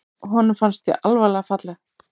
Honum fannst hún alvarlega falleg.